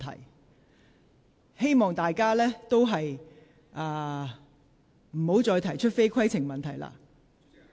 我希望大家不要再提出非規程問題。